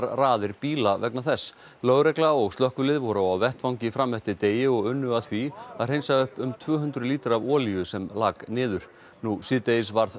raðir bíla vegna þess lögregla og slökkvilið voru á vettvangi fram eftir degi og unnu að því að hreinsa upp um tvö hundruð lítra af olíu sem láku niður nú síðdegis varð